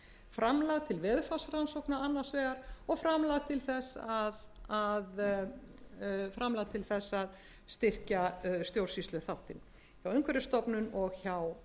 framlag til veðurfarsrannsókna annars vegar og framlag til þess að styrkja stjórnsýsluþáttinn hjá umhverfisstofnun og hjá